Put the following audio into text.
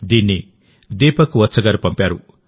దీన్ని దీపక్ వత్స్ గారు పంపారు